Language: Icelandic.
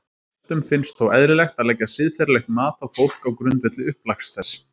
Flestum finnst þó eðlilegt að leggja siðferðilegt mat á fólk á grundvelli upplags þess.